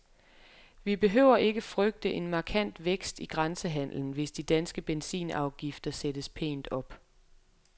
Vi behøver ikke frygte en markant vækst i grænsehandelen, hvis de danske benzinafgifter sættes pænt op.